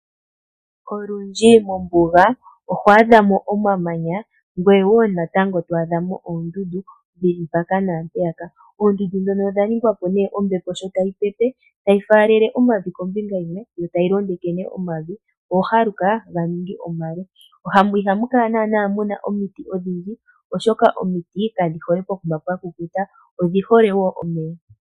Olundji mombuga oho adhamo omamanya ngoye wo natango to adhamo oondundu dhili mpaka naampeyaka. Oondundu ndhono odhaningwa po nee ombepo sho tayi pepe tayi faalale omavi kombinga yimwe ,yo tayi londeke omavi ohohaluka ganingi omale ihamu kala naanaa muna omiti odhindji oshoka omiti kadhi hole pokuma pwakukuta odhi hole wo omeya.